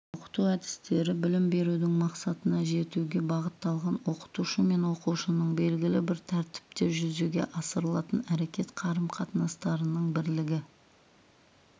оқыту әдістері білім берудің мақсатына жетуге бағытталған оқытушы мен оқушының белгілі бір тәртіпте жүзеге асырылатын әрекет қарым қатынастарының бірлігі